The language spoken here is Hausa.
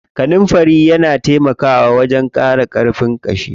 Kanunfari na taimaka wajen ƙara ƙarfin ƙashi.